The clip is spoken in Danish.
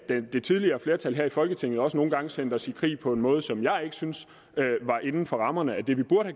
det tidligere flertal her i folketinget også nogle gange sendte os i krig på en måde som jeg ikke syntes var inden for rammerne af det vi burde